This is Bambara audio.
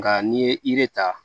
Nka n'i ye yiri ta